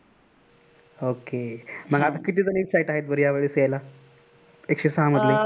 okay मग आता किती जण exit आहेत बर या वेळेस येयला, एकशे सहा मधले.